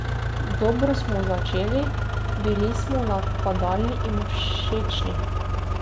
Dobro smo začeli, bili smo napadalni in všečni.